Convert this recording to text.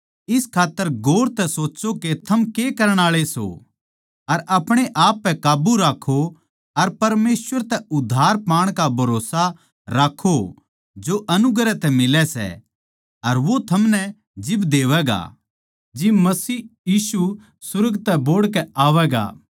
इस खात्तर गोर तै सोच्चों के थम के करण आळे सों अर अपणे आप पै काब्बू राक्खों अर परमेसवर तै उद्धार पाण का भरोस्सा राक्खों जो अनुग्रह तै मिलै सै अर वो थमनै जिब देवैगा जिब मसीह यीशु सुर्ग तै बोहड़ कै आवैगा